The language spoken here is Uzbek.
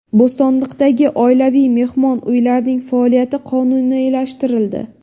Bo‘stonliqdagi oilaviy mehmon uylarining faoliyati qonuniylashtirildi.